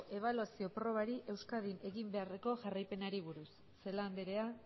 ebaluazio probari euskadin egin beharreko jarraipenari buruz celaá andrea